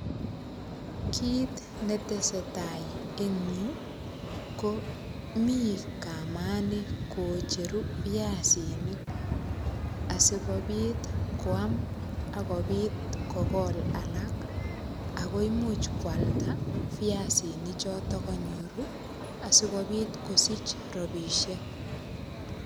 Kit netesetai eng yuu, komiii kamani kocheru viasinik, asikobit koam akobit kokola alak, akoimuch kwlada viasinik chotok kanyoru, asikobit kosich rabisiek.